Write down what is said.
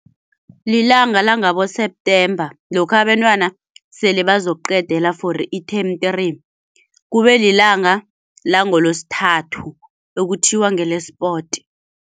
Lilanga langabo-September lokha abentwana sele bazokuqedela for i-term three, kube lilanga langoLosithathu okuthiwa ngele-sport.